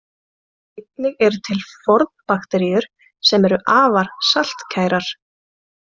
Einnig eru til fornbakteríur sem eru afar saltkærar.